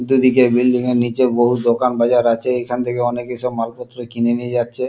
দুদিকে বিল্ডিং -এর নিচে বহু দোকান বাজার আছে । এখান থেকে অনেকে সব মালপত্র কিনে সবাই নিয়ে যাচ্ছে।